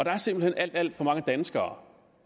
er simpelt hen alt alt for mange danskere